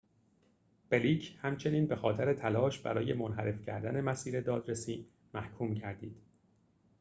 بلیک همچنین بخاطر تلاش برای منحرف کردن مسیر دادرسی محکوم گردید